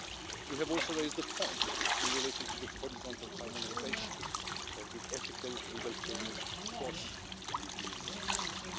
You have also raised the point in relation to the horizontal harmonisation of the ethical legal framework across the EU institutions.